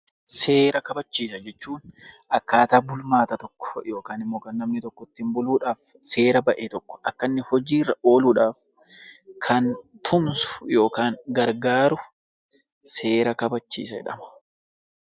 Seera kabachiisa jechuun akkaataa bulmaata tokkoo yookaan immoo kan namni tokko ittiin buluudhaaf seera ba'e tokko akka inni hojii irra ooluudhaaf kan tumsu yookaan gargaaru seera kabachiisa jedhama.